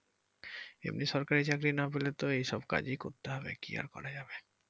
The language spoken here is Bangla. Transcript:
এমনি সরকারি চাকরি না পেলে তো এসব কাজই করতে হবে কি আর যাবে।